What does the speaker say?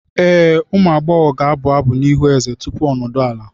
Ee, ụmụ agbọghọ ga-abụ abụ n'ihu eze tupu o nodu ala.